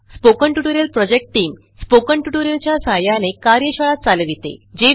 spoken tutorial project team spoken tutorial च्या सहाय्याने कार्यशाळा चालविते